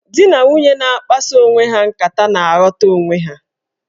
Dị na nwunye na-akpaso onwe ha nkata na-aghọta onwe ha.